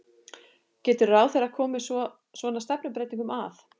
Getur ráðherra komið svona stefnubreytingum að?